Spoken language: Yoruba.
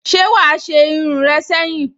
Se wa a se irun re seyin?